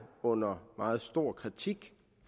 under meget stor kritik